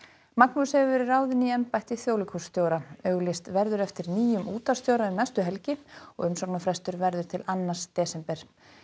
Magnús hefur verið ráðinn í embætti þjóðleikhússtjóra auglýst verður eftir nýjum útvarpsstjóra um næstu helgi og umsóknarfrestur verður til annars desember